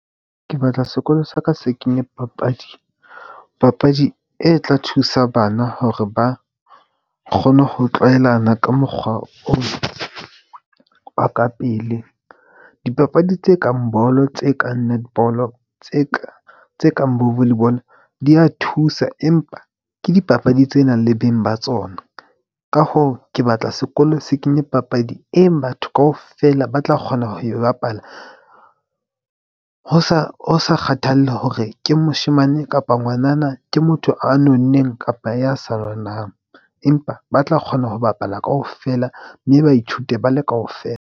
Ke batla sekolo sa ka se kenye papadi. Papadi e tla thusa bana hore ba kgone ho tlwaelana ka mokgwa ona wa ka pele. Dipapadi tse kang bolo, tse kang netball-o, tse kang tse kang bo volley ball-o di ya thusa. Empa ke dipapadi tse nang le beng ba tsona. Ka hoo, ke batla sekolo se kenye papadi e batho kaofela ba tla kgona ho e bapala ho sa ho, sa kgathalle hore ke moshemane kapa ngwanana ke motho a nonneng kapa ya sa nonang, empa ba tla kgona ho bapala kaofela mme ba ithute bale kaofela.